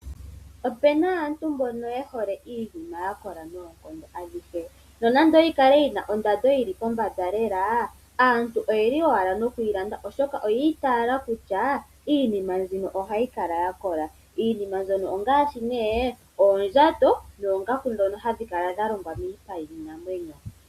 Opena aantu mbono yehole iinima yakola noongondo adhihe nonande nayikale yina ondando yili pombanda lela aantu otayeyi landa owala oshoka oya itaala kutya iinima mbino ohayi kala yakola. Iinima mbyono ongaashi nee oondjato noongaku ndjono hadhi kala dhalongwa miipa yiinamwenyo.